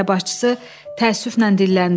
Qəbilə başçısı təəssüflə dilləndi.